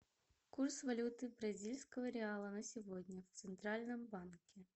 курс валюты бразильского реала на сегодня в центральном банке